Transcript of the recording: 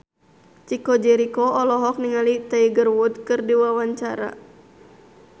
Chico Jericho olohok ningali Tiger Wood keur diwawancara